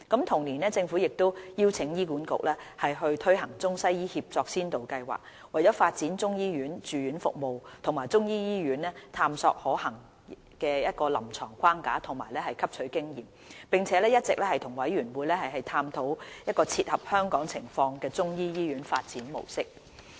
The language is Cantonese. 同年，政府亦邀請醫院管理局推行中西醫協作先導計劃，為發展中醫住院服務及中醫醫院探索可行的臨床框架及汲取經驗，並一直與委員會探討切合香港情況的中醫醫院發展模式。